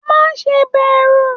Má ṣe bẹrù!